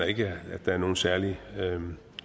ikke at der er nogen særlig